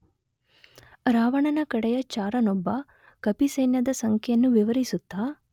ರಾವಣನ ಕಡೆಯ ಚಾರನೊಬ್ಬ ಕಪಿಸೈನ್ಯದ ಸಂಖ್ಯೆಯನ್ನು ವಿವರಿಸುತ್ತ